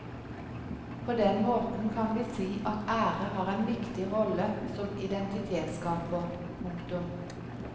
På den måten kan vi si at ære har en viktig rolle som identitetsskaper. punktum